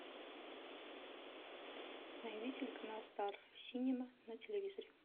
найди телеканал стар синема на телевизоре